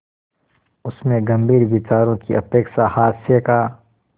उसमें गंभीर विचारों की अपेक्षा हास्य का